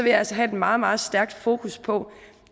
jeg altså have et meget meget stærkt fokus på